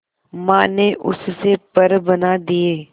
मां ने उससे पर बना दिए